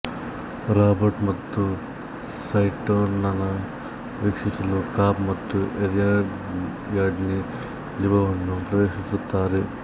Robert ಮತ್ತು ಸೈಟೊನನ್ನು ರಕ್ಷಿಸಲು ಕಾಬ್ ಮತ್ತು ಏರಿಯಾಡ್ನಿ ಲಿಂಬೊವನ್ನು ಪ್ರವೇಶಿಸುತ್ತಾರೆ